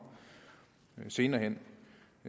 senere hen